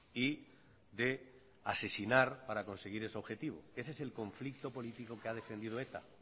y de asesinar para conseguir ese objetivo ese el conflicto político que ha defendido eta